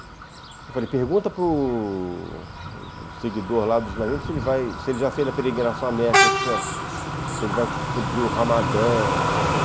Eu falei, pergunta para o seguidor lá do Islamismo se ele já fez a peregrinação à Meca esse ano, se ele vai cumprir o Ramadã, não sei o quê.